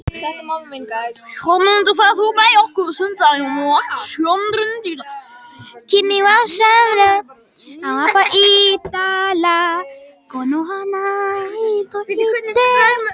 Jörmundur, ferð þú með okkur á sunnudaginn?